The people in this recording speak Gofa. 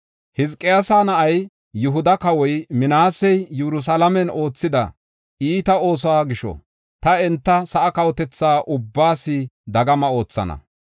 Hizqiyaasa na7ay, Yihuda kawoy Minaasey Yerusalaamen oothida iita oosuwa gisho, ta enta sa7aa kawotetha ubbaas dagama oothana.